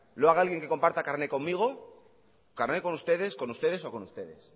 lo haga alguien que comparta carne conmigo carne con ustedes con ustedes o con ustedes